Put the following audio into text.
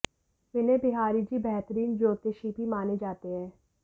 विनय बिहारी जी बेहतरीन ज्योतिषी भी माने जाते हैं